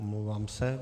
Omlouvám se.